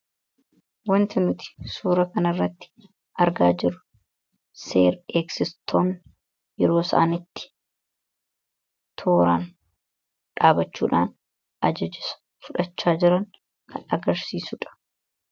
wanti nuti suura kana irratti argaa jirru seer- eegistoota tarreen dhaabbatan dha.